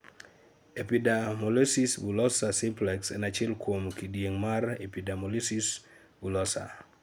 Epidermolysis bullosa simplex en achiel kuom kedieng' mar epidermolysis bullosa